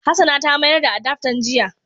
Hassana ta mayar da adaftan jiya.